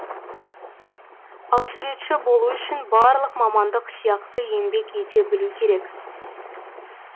ал суретші болу үшін барлық мамандық сияқты еңбек ете білу керек